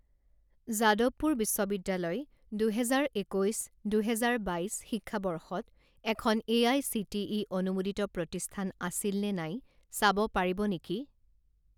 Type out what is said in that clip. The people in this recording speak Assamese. জাদৱপুৰ বিশ্ববিদ্যালয় দুহেজাৰ একৈছ দুহেজাৰ বাইছ শিক্ষাবৰ্ষত এখন এআইচিটিই অনুমোদিত প্ৰতিষ্ঠান আছিলনে নাই চাব পাৰিব নেকি?